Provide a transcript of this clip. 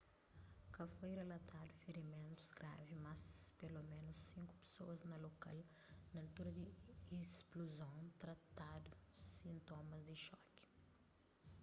ka foi rilatadu firimentus gravi mas peloménus sinku pesoas na lokal na altura di ispluzon tratadu sintomas di xoki